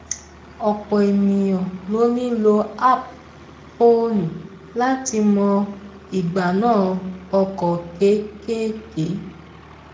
ọ̀pọ̀ ènìyàn ló ń lò app fóònù láti mọ ìgbà náà ọkọ kékèké